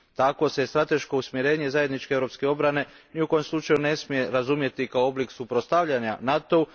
Tako se strateško usmjerenje zajedničke europske obrane ni u kojem slučaju ne smije razumjeti kao oblik suprotstavljanja NATO u.